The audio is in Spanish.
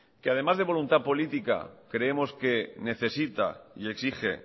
además de voluntad política creemos que necesita y exige